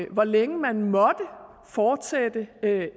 hvor længe man måtte fortsætte